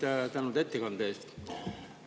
Kõigepealt tänan ettekande eest.